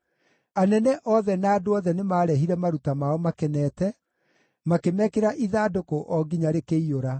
Anene othe na andũ othe nĩmarehire maruta mao makenete, makĩmekĩra ithandũkũ o nginya rĩkĩiyũra.